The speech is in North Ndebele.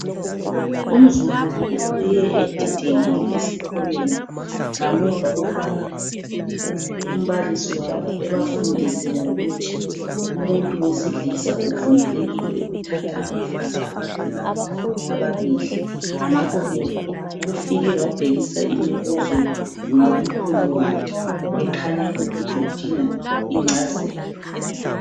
Umzukulu ubuye edidekile esikolweni ngamuva kokubana umbalisi wabo ebafundise ngokuthi umuntu wesilisa uvumelekile ukuthatha abafazi abadlula ababili ngakho ke ufike wabhekisa imibuzo ngakumkhulu wakhe ekhanya ukuthi udinga ingcazelo.